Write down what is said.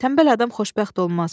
Tənbəl adam xoşbəxt olmaz.